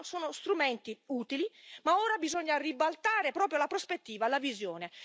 Sono strumenti utili ma ora bisogna ribaltare la prospettiva, la visione.